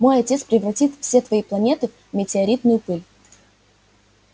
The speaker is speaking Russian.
мой отец превратит все твои планеты в метеоритную пыль